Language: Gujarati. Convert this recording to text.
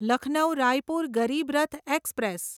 લખનૌ રાયપુર ગરીબ રથ એક્સપ્રેસ